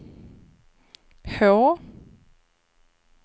H